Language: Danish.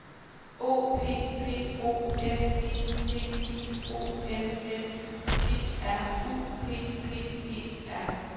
O P P O S I T I O N S G R U P P E R